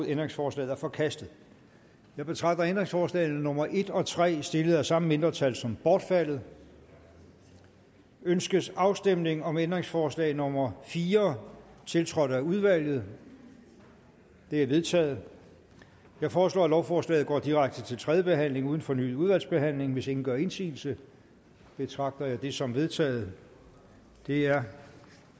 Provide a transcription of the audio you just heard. ændringsforslaget er forkastet jeg betragter ændringsforslag nummer en og tre stillet af samme mindretal som bortfaldet ønskes afstemning om ændringsforslag nummer fire tiltrådt af udvalget det er vedtaget jeg foreslår at lovforslaget går direkte til tredje behandling uden fornyet udvalgsbehandling hvis ingen gør indsigelse betragter jeg det som vedtaget det er